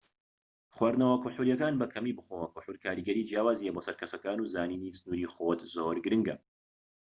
خواردنەوە کحولیەکان بە کەمی بخۆوە کحول کاریگەری جیاوازی هەیە بۆ سەر کەسەکان و زانینی سنوری خۆت زۆر گرنگە